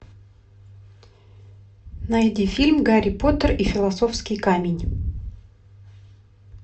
найди фильм гарри поттер и философский камень